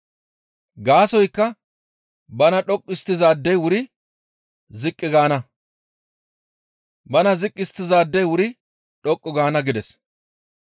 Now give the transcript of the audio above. Gaasoykka bana dhoqqu histtizaadey wuri ziqqi gaana; bana ziqqi histtizaadey wuri dhoqqu gaana» gides.